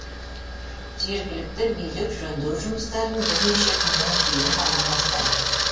жергілікті билік жөндеу жұмыстарын бірнеше күннен кейін ғана бастайды